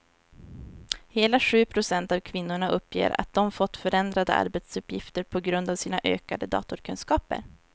Hela sju procent av kvinnorna uppger att de fått förändrade arbetsuppgifter på grund av sina ökade datorkunskaper.